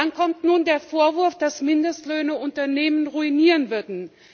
Dann kommt nun der Vorwurf, dass Mindestlöhne Unternehmen ruinieren würden.